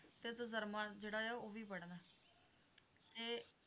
ਜਿਹੜਾ ਹੈ ਉਹ ਵੀ ਵੱਡਦਾ ਤੇ